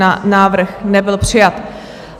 Návrh nebyl přijat.